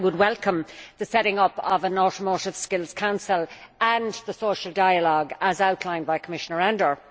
I would welcome the setting up of an Automotive Skills Council and the social dialogue as outlined by Commissioner Andor.